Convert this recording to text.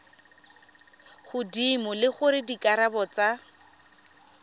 godimo le gore dikarabo tsa